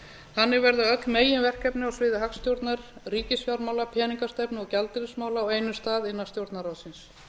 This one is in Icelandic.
þannig verða öll meginverkefni á sviði hagstjórnar ríkisfjármála peningastefnu og gjaldeyrismála á einum stað innan stjórnarráðsins